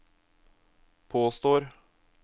påstår